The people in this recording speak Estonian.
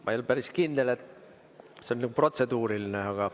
Ma ei ole päris kindel, et see on protseduuriline.